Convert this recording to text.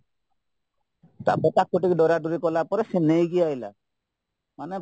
ତାପରେ ତାକୁ ଟିକେ ଡରା ଡରି କଲାପରେ ସିଏ ନେଇକି ଆସିଲା ମାନେ